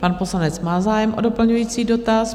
Pan poslanec má zájem o doplňující dotaz.